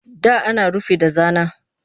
Da ana rufi da zana